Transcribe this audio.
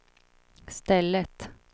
stället